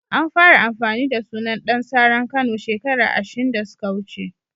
An fara amfani da sunan Dan saran Kano shekara ashin da suka wuce.